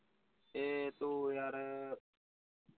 ਏ ਤੂੰ ਯਾਰ